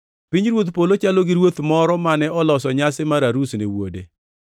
“Pinyruodh polo chalo gi ruoth moro mane oloso nyasi mar arus ne wuode.